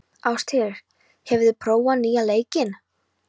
Ástheiður, hefur þú prófað nýja leikinn?